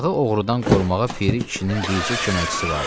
Bağı oğrudan qorumağa Piri kişinin bircə köməkçisi vardı.